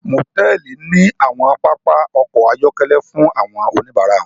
Motẹẹli ní awọn papa ọkọ ayọkẹlẹ fún awọn onibara wọn